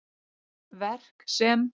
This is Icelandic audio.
Verk sem